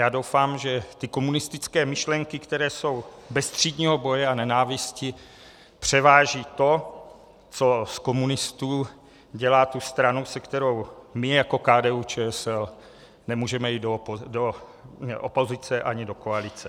Já doufám, že ty komunistické myšlenky, které jsou bez třídního boje a nenávisti, převáží to, co z komunistů dělá tu stranu, se kterou my jako KDU-ČSL nemůžeme jít do opozice ani do koalice.